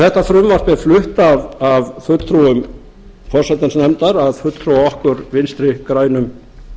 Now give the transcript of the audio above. þetta frumvarp er flutt af fulltrúum forsætisnefndar að fulltrúum okkar vinstri grænum